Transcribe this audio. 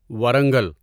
Warangal